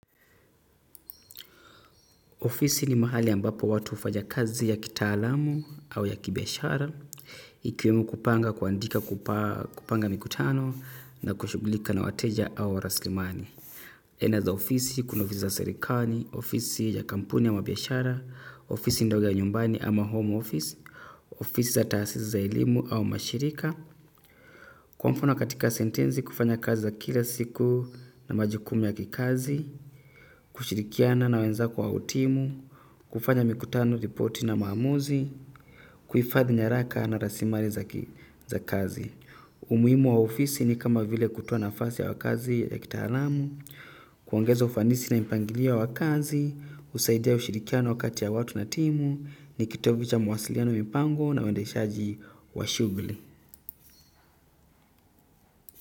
Ofisi ni mahali ambapo watu hufanya kazi ya kitaalamu au ya kibiashara. Ikiwemo kupanga kuandika kupanga mikutano na kushughulika na wateja au rasilimali aina za ofisi, kuna ofisi za serikali, ofisi ya kampuni ama biashara, ofisi ndogo ya nyumbani ama home office, ofisi za taasisi za elimu au mashirika. Kwa mfano katika sentensi, kufanya kazi za kila siku na majukumu ya kikazi kushirikiana na wenzako au timu, kufanya mikutano, ripoti na maamuzi, kuhifadhi nyaraka na rasilimali za kazi. Umuhimu wa ofisi ni kama vile kutoa nafasi ya kazi ya kitaalamu, kuongeza ufanisi na mpangilio wa kazi, husaidia ushirikiano kati ya watu na timu, ni kitovu cha mawasiliano mipango na uendeshaji wa shughuli.